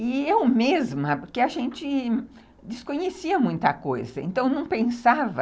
E eu mesma, porque a gente desconhecia muita coisa, então não pensava